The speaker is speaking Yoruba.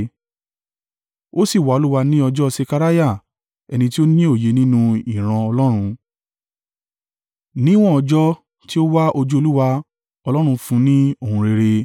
Ó sì wá Olúwa ní ọjọ́ Sekariah, ẹni tí ó ní òye nínú ìran Ọlọ́run. Níwọ́n ọjọ́ tí ó wá ojú Olúwa, Ọlọ́run fún un ní ohun rere.